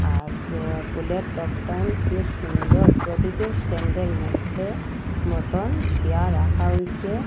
আজকে ফুলের টব টাইম কী সুন্দর প্রতিটি স্ট্যান্ড -এর মধ্যে মতন দিয়া রাখা হইছে।